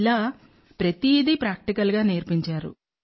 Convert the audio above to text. ఇలా ప్రతిదీ ప్రాక్టికల్ గా నేర్పించారు